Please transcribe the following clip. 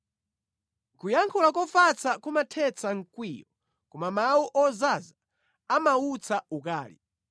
Kuyankha kofatsa kumathetsa mkwiyo, koma mawu ozaza amautsa ukali.